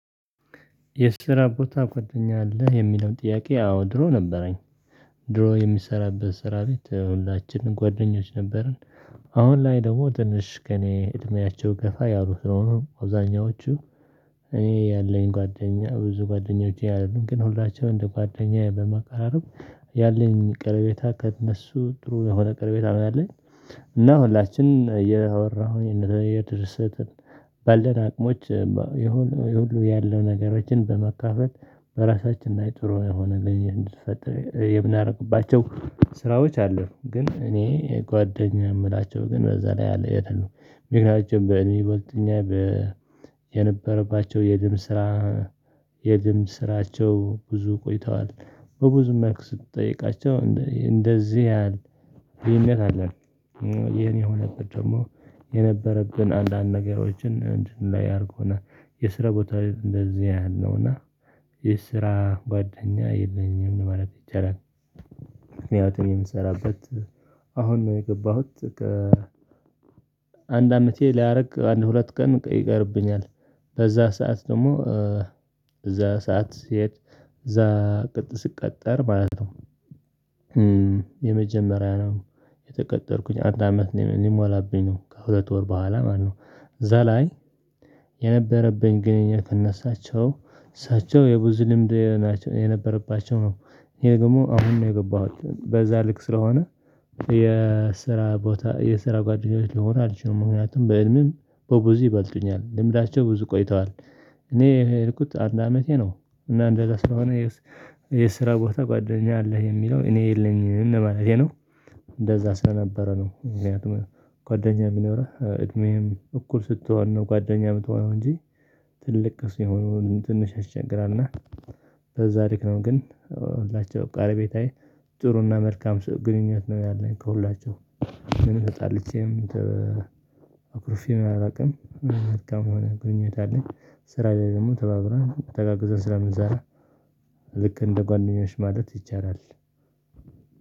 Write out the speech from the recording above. የስራ ቦታ ጓደኛ አለህ የሚለው ጥያቄ አዎ ድሮ ነበረኝ። ድሮ የምሰራበት ስራ ቤት ሁላችንም ጓደኞች ነበሩን። አሁን ላይ ደግሞ ትንሽ ከእኔ እድሜያቸው ገፋ ያሉት ነው አብዛኛዎቹ። እኔ ያለኝ ጓደኛ ብዙ ጓደኞቼ አይደሉም ግን ሁላችንም እንደ ጓደኛ በመቀራረብ ያለኝ ቀረቤታ ከእነሱ ጥሩ የሆነ ቀረቤታ ነው ያለኝ። እና ሁላችንም እያወራሁኝ የድርሰትን ባለን አቅሞች የሁሉ ያለው ነገሮችን በመካፈል በራሳችን እና የጥሩ የሆነ እንድትፈተን የምናደርግባቸው ስራዎች አሉ። ግን እኔ ጓደኛ የምላቸው ግን በዛ ላይ አለ የትል ነው። ምክንያቱም በእኔ ወደኛ የነበረባቸው የድም ስራ። የድም ስራቸው ብዙ ቆይተዋል። በብዙ መልክ ስትጠይቃቸው እንደዚህ ያህል ይሄን ያህል የኔ የሆነበት የነበረብን አንዳንድ ነገሮችን እንድናይ አድርጎናል የስራ ቦታ እንደዚህ አይነት ነው እና የስራ ጓደኛ የለኝም ማለት ይቻላል። ምክንያቱም የምሰራበት አሁን ነው የገባሁት። አንድ አመቴ ሊያደርግ አንድ ሁለት ቀን ይቀርብኛል በዛ ሰዓት ደግሞ እዛ ሰዓት ስሄድ እዛ ቅጥር ስቀጠር ማለት ነው። የመጀመሪያ ነው የተቀጠርኩኝ አንድ አመት ሊሞላብኝ ነው ከሁለት ወር በኋላ ማለት ነው። እዛ ላይ የነበረብኝ ግንኙነት እነሳቸው እሳቸው የብዙ ልምድ የነበረባቸው ነው። ይሄ ደግሞ አሁን ነው የገባሁት በዛ ልክ ስለሆነ። የስራ ቦታ የስራ ጓደኞች ልሆን አልችልም ምክንያቱም በእድሜም በብዙ ይበልጡኛል ልምዳቸው ብዙ ቆይተዋል። እኔ የሄድኩት አንድ አመቴ ነው። እና እንደዛ ስለሆነ የስራ ቦታ ጓደኛ አለህ የሚለው እኔ የለኝም ማለቴ ነው። እንደዛ ስለነበረ ነው ምክንያቱም ጓደኛ የሚኖረህ እድሜም እኩል ስትሆን ነው። ጓደኛ የምትሆነው እንጂ። ትልቅ ሲሆኑ ትንሽ ያስቸግራል። እና በዛ ድካም ግን ሁላቸው ቀረቤታዬ ጥሩና መልካም ግንኙነት ነው። ያለኝ ከሁላቸውም ምን ተጣልቼም አኩርፌም አላውቅም መልካም የሆነ ግንኙነት አለኝ። ስራ ላይ ደግሞ ተባብረን ተጋግዘን ስለምንሰራ ልክ እንደ ጓደኞች ማለት ይቻላል።